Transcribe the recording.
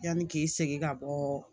Yanni k'i segin ka bɔ